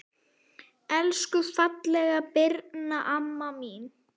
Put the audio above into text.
Elsku fallega Birna amma mín.